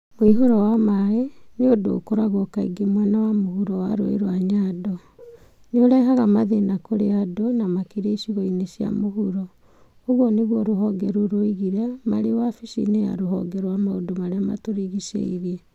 " Mũihũro wa maaĩ nĩ ũndũ ũkoragwo kaingĩ mwena wa mũhuro wa rũũĩ rwa Nyando. Nĩ ũrehaga mathĩna kũrĩ andũ, na makĩria icigo-inĩ cia mũhuro." ũguo nĩguo rũhonge rũu roigire mari wabici-ini ya ruhonge rwa maũndũ marĩa matũrigicĩirie.